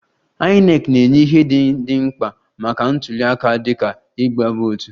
INEC na-enye ihe ndị dị mkpa maka ntuliaka dịka igbe vootu